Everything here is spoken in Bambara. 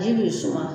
Ji bi suma